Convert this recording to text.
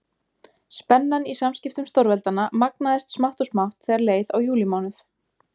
Spennan í samskiptum stórveldanna magnaðist smátt og smátt þegar leið á júlímánuð.